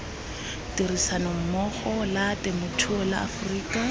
tirisanommogo la temothuo la aforika